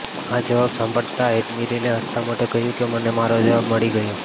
આ જવાબ સાંભળતા એડમિરલે હસતા મોઢે કહ્યું કે મને મારો જવાબ મળી ગયો